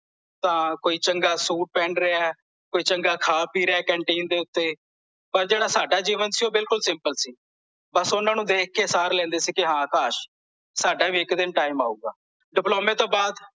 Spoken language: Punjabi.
ਤਾਂ ਕੋਈ ਚੰਗਾ ਸੂਟ ਪਹਿਨ ਰਿਹਾ ਹੈ ਕੋਈ ਚੰਗਾ ਖਾ ਪੀ ਰਿਹਾ ਹੈ ਕੈੰਟੀਨ ਦੇ ਉੱਤੇ ਪਰ ਓਹਨਾਂ ਨੂੰ ਦੇਖ ਕੇ ਸਾਰ ਲੈਂਦੇ ਸੀ ਕੇ ਹਾਂ ਕਾਸ਼ ਸਾਡਾ ਵੀ ਇੱਕ ਦਿਨ ਟਾਈਮ ਆਊਗਾ ਡਿਪਲੋਮੇ ਤੋਂ ਬਾਅਦ